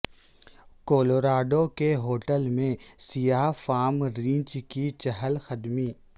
Colorado کے hotel میں سیاہ فام ریچھ کی چہل قدمی